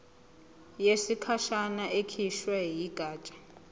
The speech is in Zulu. yesikhashana ekhishwe yigatsha